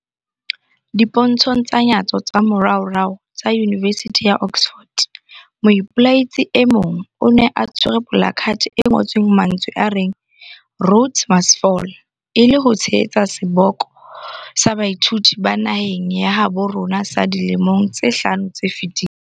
Dipontshong tsa nyatso tsa moraorao tsa Yunivesithi ya Oxford, moipelaetsi e mong o ne a tshwere polakathe e ngotsweng mantswe a reng 'Rhodes must Fall', e le ho tshehetsa seboko sa baithuti ba naheng ya habo rona sa dilemong tse hlano tse fetileng.